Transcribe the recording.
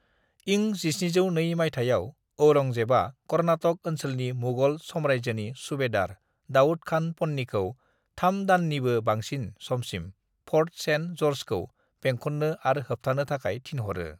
"इं 1702 माइथायाव, औरंगजेबआ कर्नाटक ओनसोलनि मुगल साम्रायजोनि सुबेदार दाऊद खान पन्नीखौ थाम दाननिबो बांसिन समसिम फर्ट सेन्ट जर्जखौ बेंखन्नो आर होबथानो थाखाय थिनहरो।"